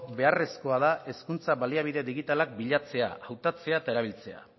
beharrezkoa da hezkuntza baliabide digitalak bilatzea hautatzea eta erabiltzea